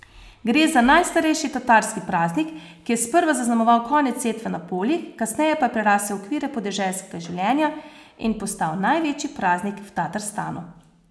Gre za najstarejši tatarski praznik, ki je sprva zaznamoval konec setve na poljih, kasneje pa je prerasel okvire podeželskega življenja in postal največji praznik v Tatarstanu.